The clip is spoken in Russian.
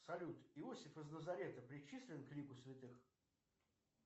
салют иосиф из лазарета причислен к лику святых